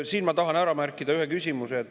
Siin ma tahan ära märkida ühe küsimuse.